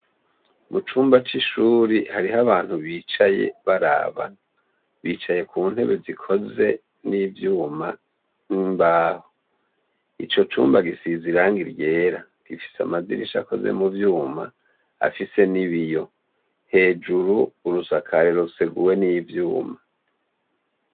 Mucumba c'ishure hariyo abantu bicaye Barabana bicaye kuntebe zikoze n'ivyuma n'imbaho, icocumba gisize irangi ryera gifise amadirisha akoze muvyuma, afise n’ibiyo, hejuru urusakarero ruseguwe n'ivyuma.